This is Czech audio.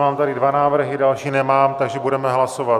Mám tady dva návrhy, další nemám, takže budeme hlasovat.